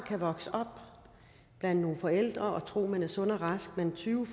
vokse op blandt nogle forældre og tro at man er sund og rask men tyve